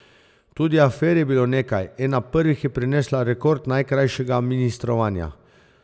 Tudi afer je bilo nekaj, ena prvih je prinesla rekord najkrajšega ministrovanja.